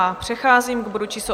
A přecházím k bodu číslo